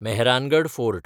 Mehrangarh fort